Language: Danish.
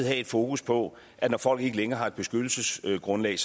have et fokus på at når folk ikke længere har et beskyttelsesgrundlag